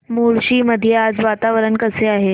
मुळशी मध्ये आज वातावरण कसे आहे